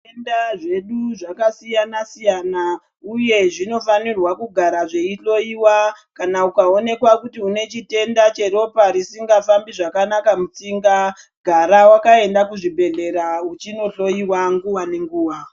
Tenda zvedu zvakasiyana siyana uye zvinofanirwa kugara zveihloyiwa kana Ukaonekwa kuti unechitenda cheropa risingafambi zvakanaka mutsinga gara wakaenda kuzvibhedhlera uchinohloyiwa nguwa nenguwa.